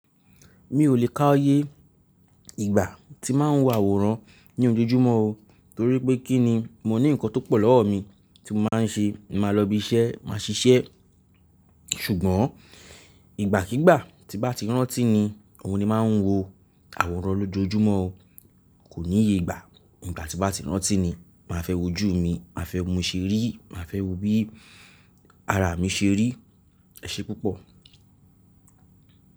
Mi ò lè ká iye ìgbà tí má n wo àwòrán ní ojojúmọ́ o, torí pé kí ni? Mo ní nǹkan tó pọ̀ lọ́wọ́ mi tí mo má n ṣe. Mo màá lọ ibi iṣẹ́, màá ṣiṣẹ́. Ṣùgbọ́n ìgbàkígbà tí bá ti rántí ni, òun ni ma n wo àwòrán lójojúmọ́ o. Kò níye ìgbà, ìgbà tí bá ti rántí ni, màá fẹ́ wojú mi, màá fẹ́ wo bi moti ri, màá fẹ́ wo bí ara mi ṣe rí. Ẹ̀ṣẹ́ púpọ̀.